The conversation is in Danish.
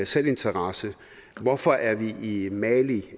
selvinteresse hvorfor er vi i mali